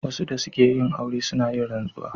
Wasu da suke yin aure suna yin rantsuwa.